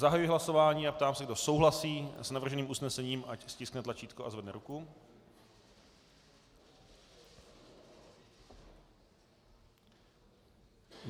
Zahajuji hlasování a ptám se, kdo souhlasí s navrženým usnesením, ať stiskne tlačítko a zvedne ruku.